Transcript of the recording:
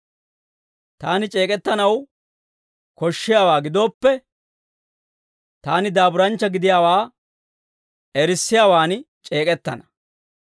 Taani c'eek'ettanaw koshshiyaawaa gidooppe, taani daaburanchcha gidiyaawaa erissiyaawan c'eek'ettana.